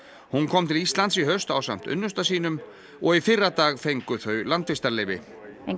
hún kom til Íslands í haust ásamt unnusta sínum og í fyrradag fengu þau landvistarleyfi hún